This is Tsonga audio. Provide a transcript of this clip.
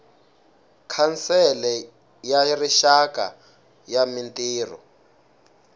khansele ya rixaka ya mintirho